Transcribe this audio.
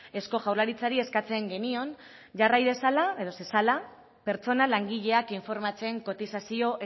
eusko jaurlaritzari eskatzen genion jarrai zezala pertsona langileak informatzen kotizazio